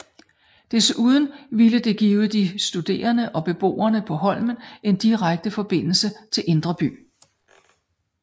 Desuden ville det give de studerende og beboerne på Holmen en direkte forbindelse til Indre By